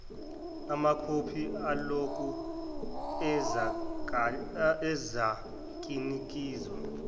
amakhophi aloko azakinikezwa